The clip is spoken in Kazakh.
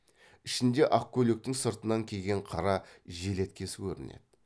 ішінде ақ көйлектің сыртынан киген қара желеткесі көрінеді